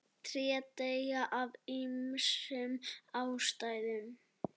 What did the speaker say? tré deyja af ýmsum ástæðum